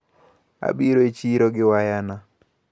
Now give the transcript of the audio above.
Abiro e chiro gi waya na.